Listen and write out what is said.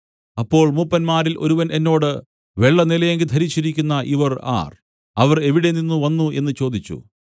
അപ്പോൾ മൂപ്പന്മാരിൽ ഒരുവൻ എന്നോട് വെള്ളനിലയങ്കി ധരിച്ചിരിക്കുന്ന ഇവർ ആർ അവർ എവിടെ നിന്നു വന്നു എന്നു ചോദിച്ചു